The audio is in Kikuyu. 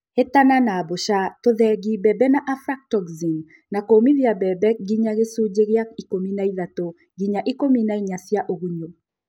Hĩtana na mbũca, tũthegethi mbembe na aflatoxin na kũmithia mbembe nginya gĩcunji kia ikũmi na ithatu nginya ikũmi na inya cia ũgunyu